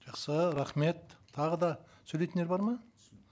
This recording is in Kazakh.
жақсы рахмет тағы да сөйлейтіндер бар ма